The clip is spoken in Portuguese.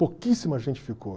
Pouquíssima gente ficou.